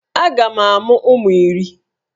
Aga m amụ ụmụ iri